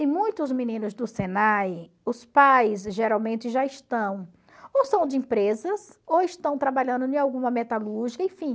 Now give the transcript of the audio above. E muitos meninos do Senai, os pais geralmente já estão, ou são de empresas, ou estão trabalhando em alguma metalúrgica, enfim.